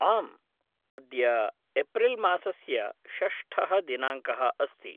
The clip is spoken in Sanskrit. आम्, अद्य एप्रिल् मासस्य षष्ठः दिनाङ्कः अस्ति।